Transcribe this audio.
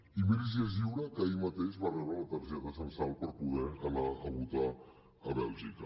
i miri si és lliure que ahir mateix va rebre la targeta censal per poder anar a votar a bèlgica